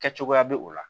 Kɛ cogoya bɛ o la